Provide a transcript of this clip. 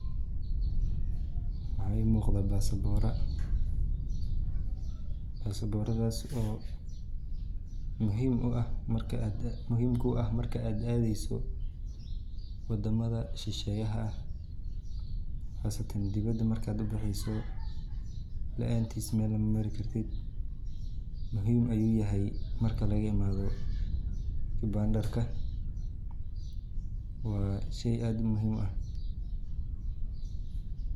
Waxa imuqda basabora kuwas oo muhiim kuah marka ad adeyso wadamaha shasheyo ah qasatan dibada marka ubaxeyso muhiim ayu uyahay marka lagaimado kibandarka wa she sad muhiim uah.